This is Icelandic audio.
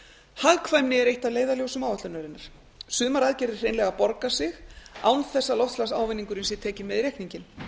hagkvæmni er eitt af leiðarljósum áætlunarinnar sumar aðgerðir hreinlega borga sig án þess að loftslagsávinningurinn sé tekinn með í reikninginn